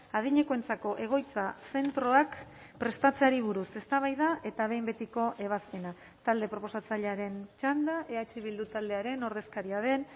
adinekoentzako egoitza zentroak prestatzeari buruz eztabaida eta behin betiko ebazpena talde proposatzailearen txanda eh bildu taldearen ordezkaria den